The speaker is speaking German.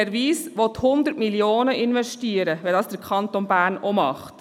Herr Wyss will 100 Mio. Franken investieren, sofern es der Kanton Bern auch tut.